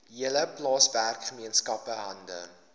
hele plaaswerkergemeenskap hande